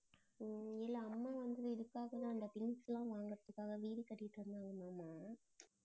உம் இல்ல அம்மா வந்து இதுக்காகத்தான் இந்த things லாம் வாங்கறதுக்காகதா வீடு கட்டிட்டு இருந்தாங்க மாமா